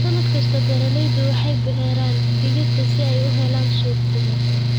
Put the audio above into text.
Sannad kasta, beeralaydu waxay beeraan digirta si ay u helaan suuq wanaagsan.